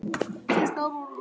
Síðustu ár voru honum erfið.